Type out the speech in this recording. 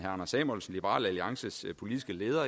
anders samuelsen liberal alliances politiske leder